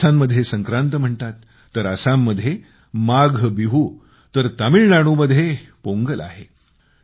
राजस्थानमध्ये संक्रांत म्हणतात तर आसाममध्ये माघबिहू तर तामिळनाडूमध्ये पोंगल आहे